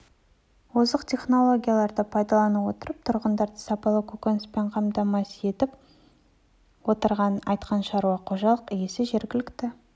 озық технологияларды пайдалана отырып тұрғындарды сапалы көкөніспен қамтамасыз етіп отырғанын айтқан шаруа қожалық иесі жергілікті